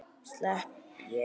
Slepp ég?